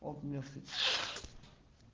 он умер